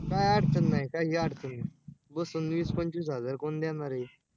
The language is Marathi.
काही अडचण नाही काही अडचण नाही बसून वीस पंचवीस हजार कोण देणार आहे?